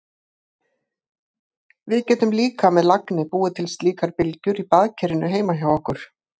Við getum líka með lagni búið til slíkar bylgjur í baðkerinu heima hjá okkur.